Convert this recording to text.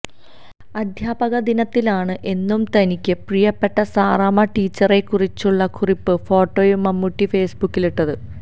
അധ്യാപക ദിനത്തിലാണ് എന്നും തനിയ്ക്ക് പ്രിയപ്പെട്ട സാറാമ്മ ടീച്ചറിനെക്കുറിച്ചുള്ള കുറിപ്പും ഫോട്ടോയും മമ്മൂട്ടി ഫേസ്ബുക്കിലിട്ടത്